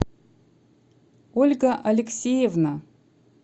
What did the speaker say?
ольга алексеевна